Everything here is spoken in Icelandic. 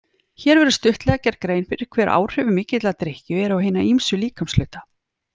Hér verður stuttlega gerð grein fyrir hver áhrif mikillar drykkju eru á hina ýmsu líkamshluta.